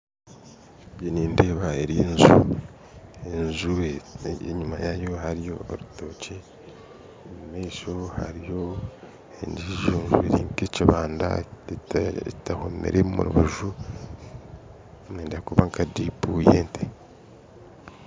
Nindeeba enju, enju enyuma yaayo hariyo orutookye omumaisho hariyo enju eri k'ekibanda tehomire omu rubaju eri nka diipi y'ente